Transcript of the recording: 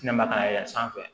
Kɛnɛma ka yɛlɛn sanfɛ